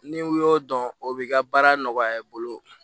Ni u y'o dɔn o b'i ka baara nɔgɔya i bolo